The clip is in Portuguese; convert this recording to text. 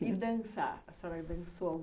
E dançar? a senhora dançou?